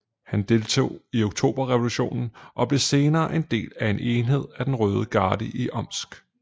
Han deltog i Oktoberrevolutionen og blev senere en del af en enhed af den røde garde i Omsk